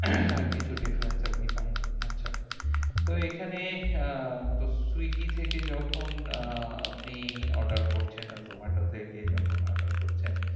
কিছু difference আপনি পাননি। আচ্ছা তো এখানে আহ তো swiggy থেকে যখন আহ আপনি order করছেন আর zomato থেকে যখন order করছেন